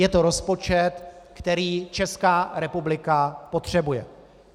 Je to rozpočet, který Česká republika potřebuje.